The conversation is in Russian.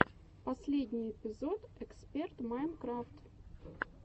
последний эпизод эксперт майнкрафт